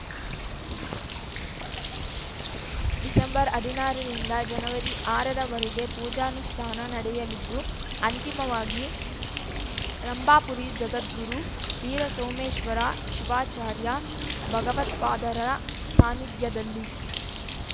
December ಹದಿನಾರರಿಂದ ಜನವರಿ ಆರರ ವರೆಗೆ ಪೂಜಾನುಷ್ಠಾನ ನಡೆಯಲಿದ್ದು ಅಂತಿಮವಾಗಿ ರಂಭಾಪುರಿ ಜಗದ್ಗುರು ವೀರಸೋಮೇಶ್ವರ ಶಿವಾಚಾರ್ಯ ಭಗವತ್ಪಾದರ ಸಾನ್ನಿಧ್ಯದಲ್ಲಿ